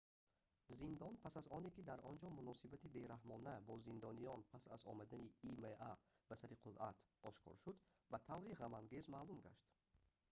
зиндон пас аз оне ки дар онҷо муносибати бераҳмона бо зиндониён пас аз омадани има ба сари қудрат ошкор шуд ба таври ғамангез маъмул гашт